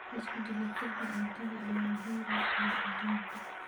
Isku dheelitirka cuntada ayaa muhiim u ah adduunka.